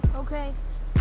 ókei